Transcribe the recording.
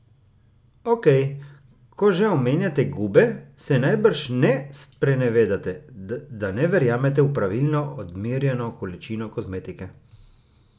Okej, ko že omenjate gube, se najbrž ne sprenevedate, da ne verjamete v pravilno odmerjeno količino kozmetike?